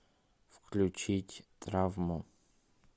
включить травму